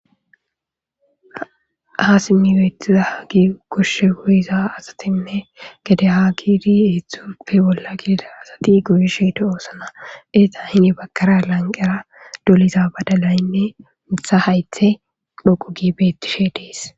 ha simmi beetiza hagi goshshe goyiza asatinne gede ha giidi eeththupfe bolla gidida asati goyisheto doosana eza hini bakara lanqera doliza badalaynne mitha haythe dhoqu gi beettishe dees